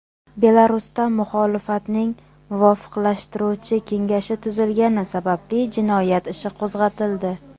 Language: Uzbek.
Belarusda muxolifatning muvofiqlashtiruvchi kengashi tuzilgani sababli jinoyat ishi qo‘zg‘atildi.